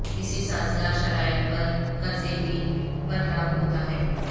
اسی سازگار شرائط پر قرضے کی پر لاگو ہوتا ہے